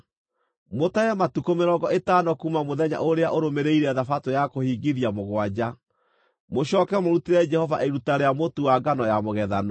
Mũtare matukũ mĩrongo ĩtano kuuma mũthenya ũrĩa ũrũmĩrĩire Thabatũ ya kũhingithia mũgwanja, mũcooke mũrutĩre Jehova iruta rĩa mũtu wa ngano ya mũgethano.